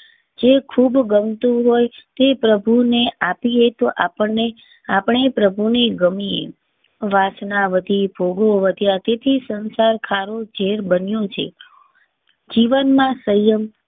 જે ખૂબ ગમ તું હોય તે પ્રભુ ને આપીએ તો આપણને આપણે પ્રભુ ને ગમે એ વાત સાવ ભોગવતી હતી તેથી સંસાર ખારો જેર બન્યો છે. જીવન માં સંયમ